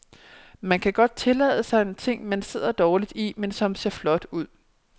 Man kan godt tillade sig en ting, man sidder dårligt i, men som ser flot ud.